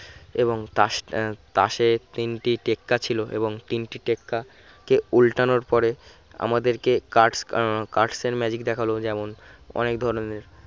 এবং তাস তাসের তিন টেক্কা ছিল এবং তিনটি টেক্কা কে উল্টানোর পরে আমাদেরকে cards cards এর magic দেখালো যেমন অনেক ধরনের